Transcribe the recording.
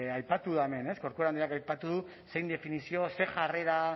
aipatu da hemen ez corcuera andreak aipatu du zein definizio zer jarrera